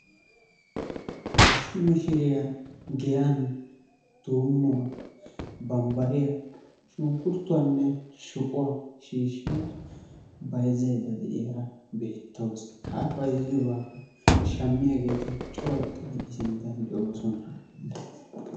Issi mishshiriyaan giyaan tummuwaa bambbariyaa shunkurutuwaanne shuqquwaa shiishshada bayzzayda de'iyaara beettawus. Ha a bayzzayiyode shammiyaageti cooratidi i sinttaan de'oosona.